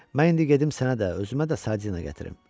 Mən indi gedim sənə də, özümə də sardina gətirim.